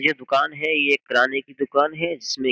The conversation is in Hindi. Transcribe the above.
ये दुकान है ये किराने की दुकान है इसमें --